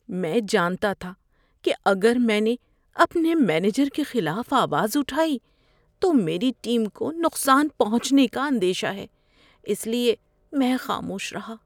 ‏میں جانتا تھا کہ اگر میں نے اپنے مینیجر کے خلاف آواز اٹھائی تو میری ٹیم کو نقصان پہنچنے کا اندیشہ ہے، اس لیے میں خاموش رہا۔